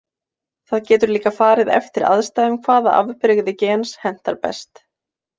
Það getur líka farið eftir aðstæðum hvaða afbrigði gens hentar best.